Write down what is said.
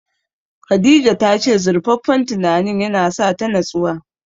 Khadija ta ce zurfaffen tunanin ya na sa ta natsuwa